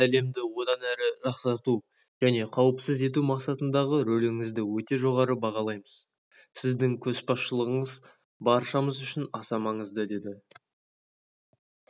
біз сіздің әлемді одан әрі жақсарту және қауіпсіз ету мақсатындағы рөліңізді өте жоғары бағалаймыз сіздің көшбасшылығыңыз баршамыз үшін аса маңызды деді